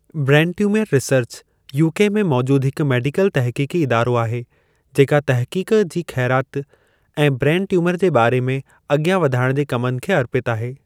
Brain tumour research, UK में मौजूदु हिकु मेडिकल तहक़ीक़ी इदारो आहे जेका तहक़ीक़ जी खै़राति ऐं ब्रेन ट्यूमर जे बा॒रे में आॻियां वधाइण जे कमनि खे अर्पितु आहे।